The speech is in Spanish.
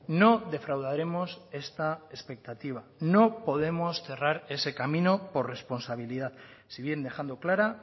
no defraudaremos esta expectativa no podemos cerrar ese camino por responsabilidad si bien dejando clara